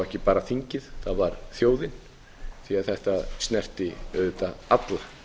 ekki bara þingið það var þjóðin því þetta snerti auðvitað alla